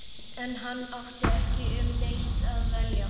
En hann átti ekki um neitt að velja.